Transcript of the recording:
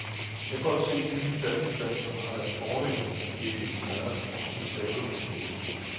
Jeg kan godt se, de nye plasticflasker har deres fordele, fordi de ikke smadrer, hvis man taber dem på gulvet.